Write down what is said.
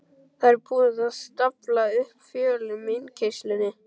Það var búið að stafla upp fjölum í innkeyrslunni.